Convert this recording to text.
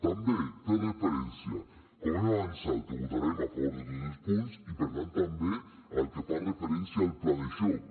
també fer referència com hem avançat que votarem a favor de tots els punts i per tant també el que fa referència al pla de xoc